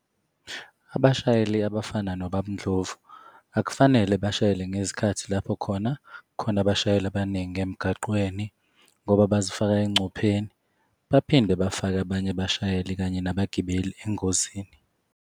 Abashayeli abafana nobaba uNdlovu akufanele bashayele ngezikhathi lapho khona kukhona abashayeli abaningi emgaqweni ngoba bazifaka engcupheni, baphinde bafake abanye abashayeli, kanye nabagibeli engozini.